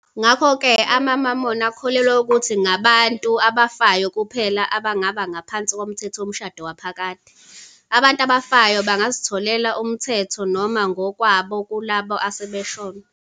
Ngakho-ke, amaMormon akholelwa ukuthi ngabantu abafayo kuphela abangaba ngaphansi komthetho womshado waphakade, abantu abafayo bangazitholela umthetho noma ngokwabo kulabo asebashona.